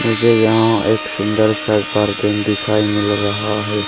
मुझे यहां एक सुंदर सा घर दिखाई मिल रहा है।